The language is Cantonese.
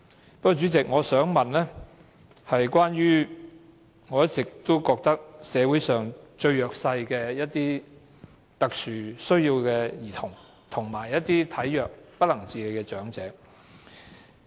不過，主席，我想問的是關於我一直以來覺得社會上最弱勢，有特殊需要的兒童，以及體弱不能自理的長者。